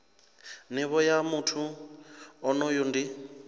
nivho ya muthu onoyo ndi